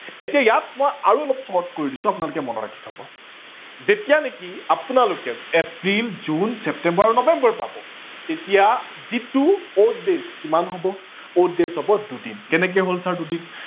এতিয়া ইয়াত মই আৰু অলপ short কৰি দিছো আপোনালোকে মনত ৰাখি থব। যেতিয়া নেকি আপোনালোকে এপ্ৰিল, জুন, ছেপ্তেম্বৰ আৰু নৱেম্বৰ পাব তেতিয়া যিটো odd days কিমান হব, odd days হব দুদিন। কেনেকে হল ছাৰ দুদিন